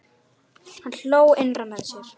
Hann hló innra með sér.